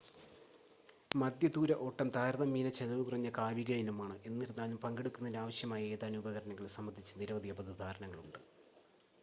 മധ്യ ദൂര ഓട്ടം താരതമ്യേന ചെലവുകുറഞ്ഞ കായിക ഇനമാണ് എന്നിരുന്നാലും പങ്കെടുക്കുന്നതിന് ആവശ്യമായ ഏതാനും ഉപകരണങ്ങൾ സംബന്ധിച്ച് നിരവധി അബദ്ധധാരണകളുണ്ട്